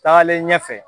Taalen ɲɛfɛ